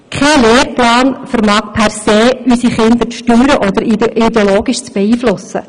Kein Lehrplan vermag per se unsere Kinder zu steuern oder ideologisch zu beeinflussen.